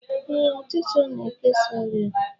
Ee, ọchịcha na-ekesa ọrịa